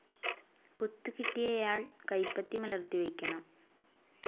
കുത്ത് കിട്ടിയയാൾ കൈപ്പത്തി മലർത്തി വയ്ക്കണം.